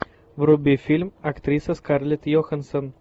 вруби фильм актриса скарлетт йоханссон